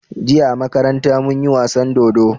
Jiya a makaranta munyi wasan dodo